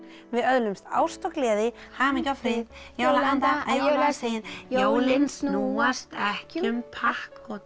við öðlumst ást og gleði hamingju og frið jólaanda að jólasið jólin snúast ekki um pakka